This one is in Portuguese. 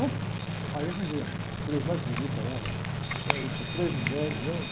né? Aí eu arranjei aí, as três mais bonitas lá, fui com três mulheres, né?